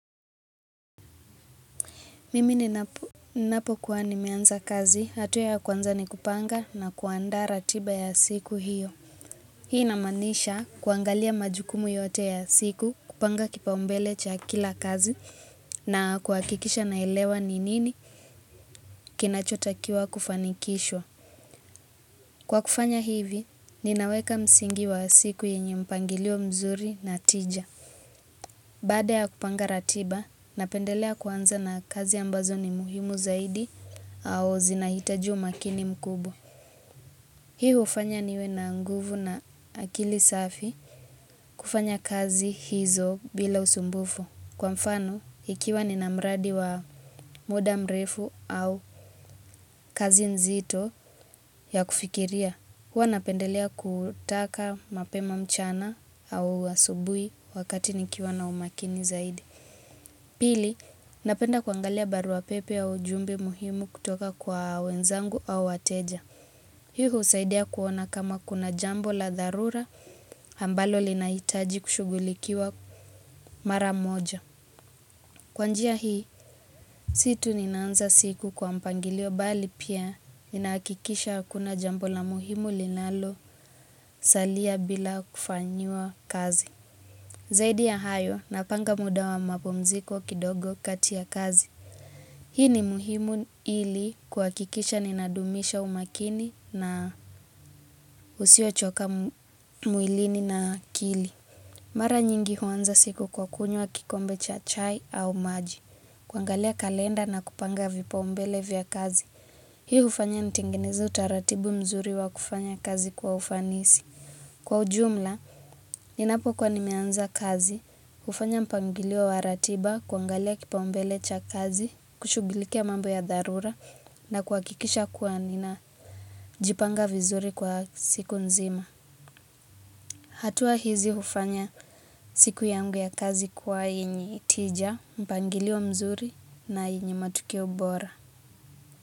Mimi ninapokuwa nimeanza kazi, hatua ya kwanza ni kupanga na kuandaa ratiba ya siku hiyo. Hii inamaanisha kuangalia majukumu yote ya siku, kupanga kipaumbele cha kila kazi na kuhakikisha naelewa ni nini kinachotakiwa kufanikishwa. Kwa kufanya hivi, ninaweka msingi wa siku yenye mpangilio mzuri na tija. Baada ya kupanga ratiba, napendelea kwanza na kazi ambazo ni muhimu zaidi au zinahitaji umakini mkubwa. Hii hufanya niwe na nguvu na akili safi kufanya kazi hizo bila usumbufu. Kwa mfano, ikiwa nina mradi wa muda mrefu au kazi nzito ya kufikiria, huwa napendelea kutaka mapema mchana au asubuhi wakati nikiwa na umakini zaidi. Pili, napenda kuangalia barua pepe au ujumbe muhimu kutoka kwa wenzangu au wateja. Hii husaidia kuona kama kuna jambo la dharura ambalo linahitaji kushughulikiwa mara moja. Kwa njia hii, si tu ninaanza siku kwa mpangilio bali pia inahakikisha hakuna jambo la muhimu linalosalia bila kufanyiwa kazi. Zaidi ya hayo, napanga muda wa mapumziko kidogo kati ya kazi. Hii ni muhimu ili kuhakikisha ninadumisha umakini na usiochoka mwilini na akili. Mara nyingi huanza siku kwa kunywa kikombe cha chai au maji. Kuangalia kalenda na kupanga vipaumbele vya kazi. Hii hufanya nitengeneze utaratibu mzuri wa kufanya kazi kwa ufanisi. Kwa ujumla, ninapokuwa nimeanza kazi, hufanya mpangilio wa ratiba, kuangalia kipaumbele cha kazi, kushughulikia mambo ya dharura na kuhakikisha kuwa ninajipanga vizuri kwa siku nzima. Hatua hizi hufanya siku yangu ya kazi kuwa yenyi tija, mpangilio mzuri na yenye matokeo bora.